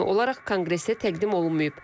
Rəsmi olaraq konqresə təqdim olunmayıb.